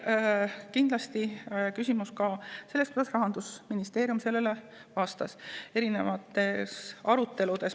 Kindlasti on oluline ka see, kuidas Rahandusministeerium eri aruteludes sellele küsimusele vastas.